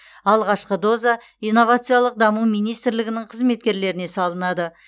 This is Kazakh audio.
алғашқы доза инновациялық даму министрлігінің қызметкерлеріне салынады